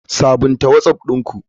Sabunta whatsapp ɗin ku.